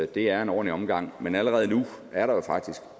det er en ordentlig omgang men allerede nu er der jo faktisk